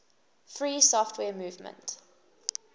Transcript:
free software movement